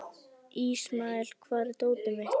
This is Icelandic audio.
Ismael, hvar er dótið mitt?